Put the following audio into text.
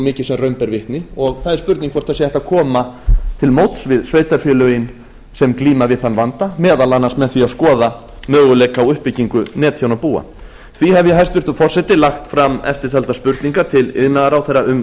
mikið sem raun ber vitni og það er spurning hvort hægt sé að koma til móts við sveitarfélögin sem glíma við þann vanda meðal annars með því að skoða möguleika á uppbyggingu netþjónabúa því hef ég hæstvirtur forseti lagt fram eftirtaldar spurningar til iðnaðarráðherra um